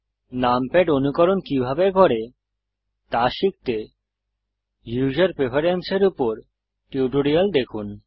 numpad অনুকরণ কিভাবে করে তা শিখতে ইউসার প্রেফেরেন্সেস এর উপর টিউটোরিয়াল দেখুন